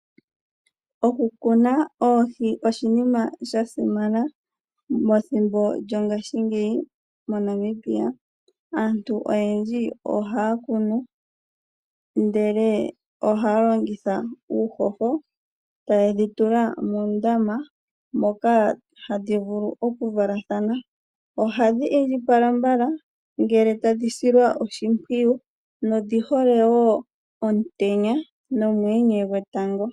Okukuna oohi oshinima shasimana methimbo lyongashingeyi moNamibia, aantu oyendji ohaa kunu ndele ohaa longitha uuhoho, taye dhi tula muundama moka hadhi vulu okuvulu okuvalathana, ohadhi indjipala mbala ngele tadhi silwa oshimpwiyu odhi hole woo omutenya nomuyenye gwetango.